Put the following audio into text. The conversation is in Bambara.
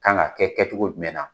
Kan ka kɛ kɛcogo jumɛn na?